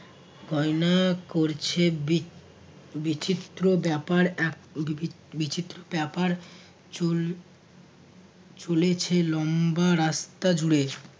গয়না করছে বিক বিচিত্র ব্যাপার এক বি~ বি~ বিচিত্র ব্যপার চল চলেছে লম্বা রাস্তা জুড়ে